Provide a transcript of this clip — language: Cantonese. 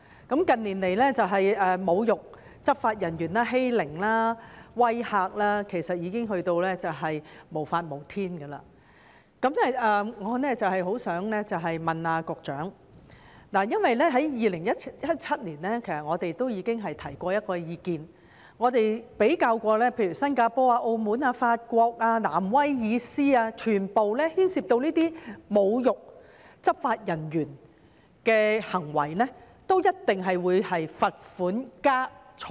近年侮辱執法人員、欺凌和威嚇的行為其實已達到無法無天的程度，我想問局長，我們在2017年已提出一項意見，並比較例如新加坡、澳門、法國和新南威爾斯等地，所有地方均對牽涉侮辱執法人員的行為處以罰款加監禁。